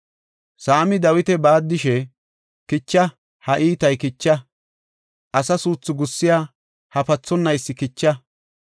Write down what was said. Saami Dawita baaddishe, “Kicha; ha iitay kicha! Asa suuthu gussiya ha pathonaysi kicha.